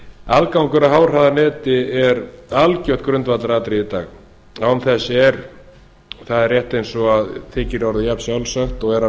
aðgangur að háhraðaneti er algjört grundvallaratriði í dag án þess er það er rétt eins og það þykir orðið jafnsjálfsagt og er að